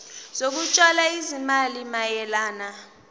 zokutshala izimali mayelana